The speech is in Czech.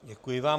Děkuji vám.